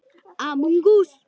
Nei, svara hinar í kór.